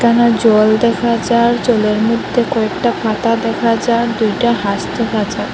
এইখানে জল দেখা যার জলের মধ্যে কয়েকটা পাতা দেখা যার দুইটা হাঁস দেখা যার।